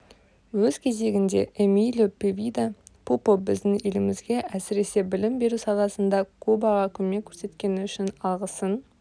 өз кезегінде эмилио певида пупо біздің елімізге әсіресе білім беру саласында кубаға көмек көрсеткені үшін алғысын